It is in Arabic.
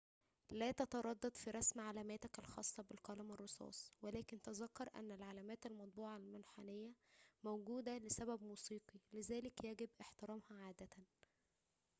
لا تتردد في رسم علاماتك الخاصة بالقلم الرصاص ولكن تذكر أن العلامات المطبوعة المنحنية موجودة لسبب موسيقي لذلك يجب احترامها عادة